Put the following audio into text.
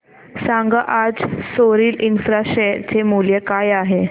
सांगा आज Soril Infra share चे मूल्य काय आहे